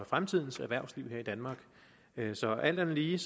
fremtidens erhvervsliv her i danmark så alt andet lige